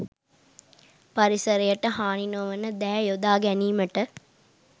පරිසරයට හානි නොවන දෑ යොදා ගැනීමට